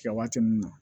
Kɛ waati min na